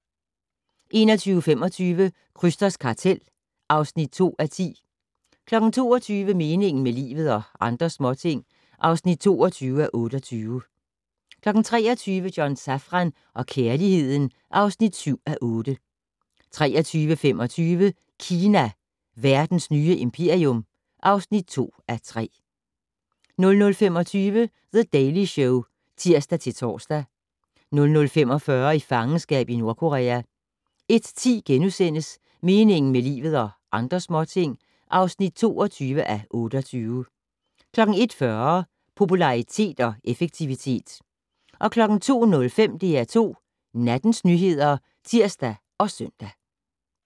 21:25: Krysters kartel (2:10) 22:00: Meningen med livet - og andre småting (22:28) 23:00: John Safran og kærligheden (7:8) 23:25: Kina - verdens nye imperium (2:3) 00:25: The Daily Show (tir-tor) 00:45: I fangenskab i Nordkorea 01:10: Meningen med livet - og andre småting (22:28)* 01:40: Popularitet og effektivitet 02:05: DR2 Nattens nyheder (tir og søn)